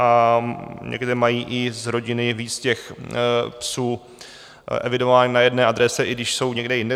A někde mají i z rodiny víc těch psů evidovaných na jedné adrese, i když jsou někde jinde.